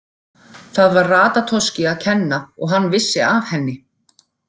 Það var Ratatoski að kenna að hann vissi af henni.